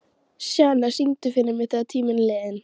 Sjana, syngdu fyrir mig „Þegar tíminn er liðinn“.